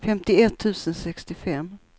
femtioett tusen sextiofem